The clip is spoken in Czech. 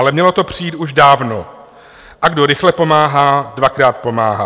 Ale mělo to přijít už dávno, a kdo rychle pomáhá, dvakrát pomáhá.